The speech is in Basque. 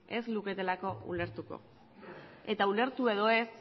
ez luketelako ulertuko eta ulertu edo ez